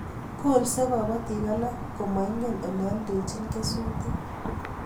Kolsei kobotik alak ko moingen Ole oldochin kesutik